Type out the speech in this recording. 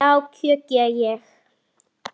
Já, kjökra ég.